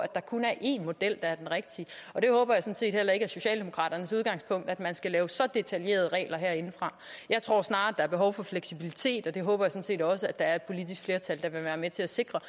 at der kun er én model der er den rigtige det håber jeg sådan set heller ikke er socialdemokraternes udgangspunkt altså at man skal lave så detaljerede regler herindefra jeg tror snarere der er behov for fleksibilitet og det håber set også der er et politisk flertal der vil være med til at sikre